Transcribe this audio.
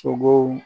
Sogow